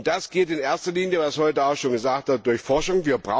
Das geht in erster Linie was heute auch schon gesagt wurde durch Forschung.